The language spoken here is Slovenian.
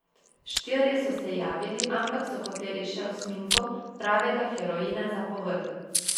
Štirje so se javili, ampak so hoteli še osminko pravega heroina za povrh.